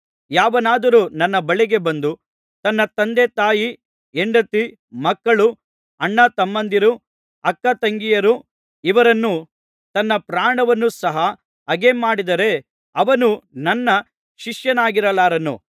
ಯಾವನಾದರೂ ನನ್ನ ಬಳಿಗೆ ಬಂದು ತನ್ನ ತಂದೆತಾಯಿ ಹೆಂಡತಿ ಮಕ್ಕಳು ಅಣ್ಣತಮ್ಮಂದಿರು ಅಕ್ಕತಂಗಿಯರು ಇವರನ್ನೂ ತನ್ನ ಪ್ರಾಣವನ್ನು ಸಹ ಹಗೆಮಾಡದಿದ್ದರೆ ಅವನು ನನ್ನ ಶಿಷ್ಯನಾಗಿರಲಾರನು